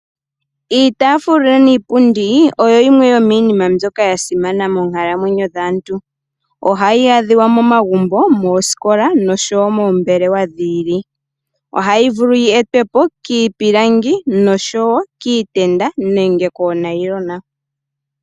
Iitaafula niipundi oyo yimwe yomiinima mbyoka yasimana moonkalamwenyo dhaantu. Ohayi adhiwa momagumbo, moosikola noshowo moombelewa dhi ili. Ohayi vulu yi etwe po kiipilangi noshowo kiitenda nenge koonayilona.